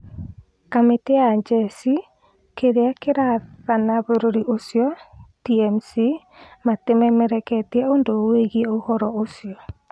Kamĩtĩ ya njeshi kĩrĩa kĩrathana bũrũri ũcio (TMC) matĩmemereketie ũndũ wũgie ũhoro ũcio